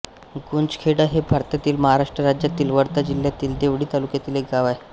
गुंजखेडा हे भारतातील महाराष्ट्र राज्यातील वर्धा जिल्ह्यातील देवळी तालुक्यातील एक गाव आहे